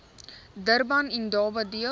durban indaba deel